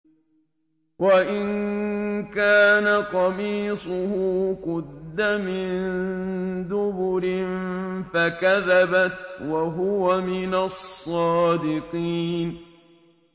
وَإِن كَانَ قَمِيصُهُ قُدَّ مِن دُبُرٍ فَكَذَبَتْ وَهُوَ مِنَ الصَّادِقِينَ